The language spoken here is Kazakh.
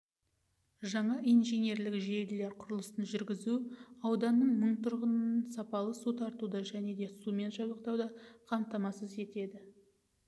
жаңа инженерлік желілер құрылысын жүргізу ауданның мың тұрғынын сапалы су тартуды және сумен жабдықтауды қамтамасыз етеді